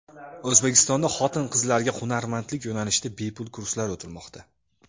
O‘zbekistonda xotin-qizlarga hunarmandlik yo‘nalishida bepul kurslar o‘tilmoqda.